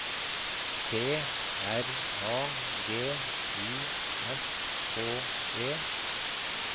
T R A G I S K E